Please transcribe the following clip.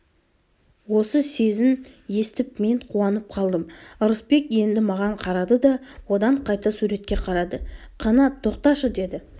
осы сезін естіп мен қуанып қалдым ырысбек енді маған қарады да одан қайта суретке қарады қанат тоқташы деді